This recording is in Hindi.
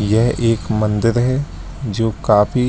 यह एक मन्दिर है जो काफी